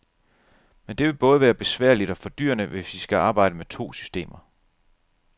Men det vil både være besværligt og fordyrende, hvis vi skal arbejde med to systemer.